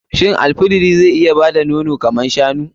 Shin al fidiri zai iya bada nono kamar shanu?